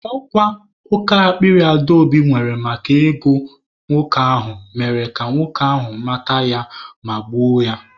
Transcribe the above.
Ọ kwa oke akpịrị Adaobi nwere maka ego nwoke ahụ mere ka nwoke ahụ mata ya ma gbuo ya.